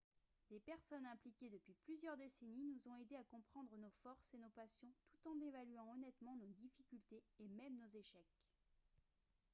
des personnes impliquées depuis plusieurs décennies nous ont aidés à comprendre nos forces et nos passions tout en évaluant honnêtement nos difficultés et même nos échecs